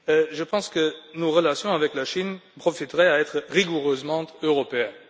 Je pense que nos relations avec la Chine gagneraient à être rigoureusement européennes.